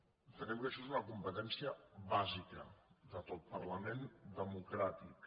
entenem que això és una competència bàsica de tot parlament democràtic